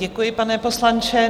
Děkuji, pane poslanče.